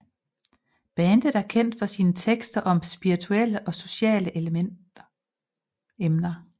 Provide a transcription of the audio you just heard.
Bandet er kendt for sine tekster om spirituelle og sociale emner